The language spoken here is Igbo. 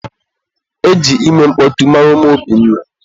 E ji ime mkpọtụ mara ụmụ Obinna.